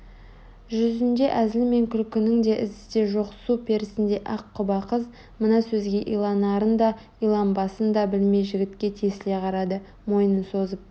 жүзінде әзіл мен күлкінің ізі де жоқ су перісіндей ақ құба қыз мына сөзге иланарын да иланбасын да білмей жігітке тесіле қарады мойнын созып